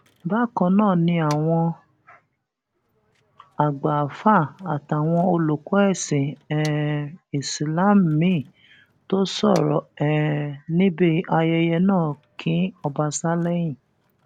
bákan náà ni àwọn àgbà àáfáà àtàwọn olùkọ ẹsìn um islam míín tó sọrọ um níbi ayẹyẹ náà kín ọbaṣá lẹyìn